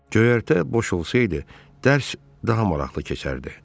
Göyərtə boş olsaydı, dərs daha maraqlı keçərdi.